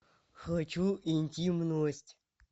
хочу интимность